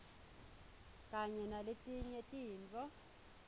kanye naletinye tintfo